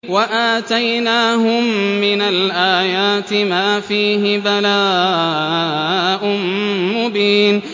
وَآتَيْنَاهُم مِّنَ الْآيَاتِ مَا فِيهِ بَلَاءٌ مُّبِينٌ